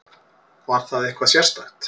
Var það eitthvað sérstakt?